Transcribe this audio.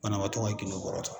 Banabaatɔ ka gindo bɔrɔtɔ.